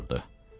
yerə oturdu.